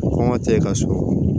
Kɔngɔ tɛ e ka so